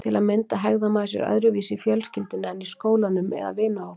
Til að mynda hegðar maður sér öðruvísi í fjölskyldunni en í skólanum eða vinahópnum.